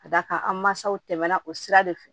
Ka d'a kan an mansaw tɛmɛna o sira de fɛ